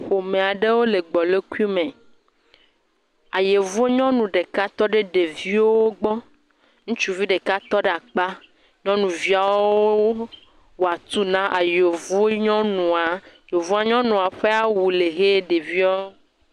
Ƒome aɖewo le gbolokui me. Ayevu nyɔnu ɖeka tɔ ɖe ɖeviwo gbɔ. ŋutsuvi ɖeka tɔ ɖe akpa. Nyɔnuviawo wɔ atuu na ayevu nyɔnua. Yevu nyɔnua ƒe awu le hɛ ɖeviawo.